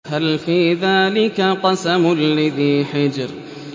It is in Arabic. هَلْ فِي ذَٰلِكَ قَسَمٌ لِّذِي حِجْرٍ